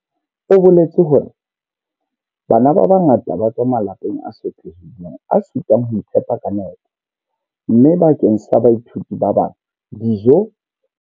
O boletse hore bana ba bangata ba tswa malapeng a sotlehileng a sitwang ho iphepa ka nepo, mme bakeng sa baithuti ba bang, dijo.